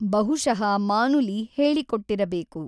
ಬಹುಶಃ ಮಾನುಲಿ ಹೇಳಿಕೊಟ್ಟಿರಬೇಕು.